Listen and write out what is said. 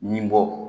Ni bɔ